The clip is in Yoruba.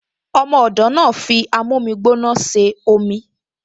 Ọmọ ọ̀dọ̀ náà fi amómígbóná ṣe omi